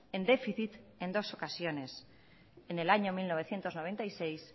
en déficit en dos ocasiones en el año mil novecientos noventa y seis